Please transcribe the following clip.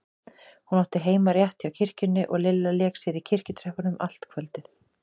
Hún átti heima rétt hjá kirkjunni og Lilla lék sér í kirkjutröppunum allt kvöldið.